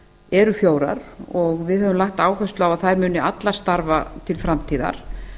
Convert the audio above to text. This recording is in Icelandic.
eru fjórar og við höfum lagt áherslu á að þær munu allar starfa til framtíðar